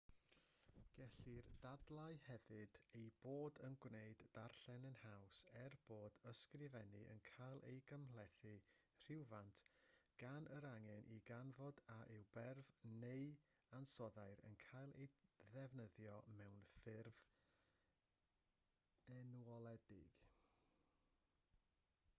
gellir dadlau hefyd ei bod yn gwneud darllen yn haws er bod ysgrifennu yn cael ei gymhlethu rywfaint gan yr angen i ganfod a yw berf neu ansoddair yn cael ei ddefnyddio mewn ffurf enwoledig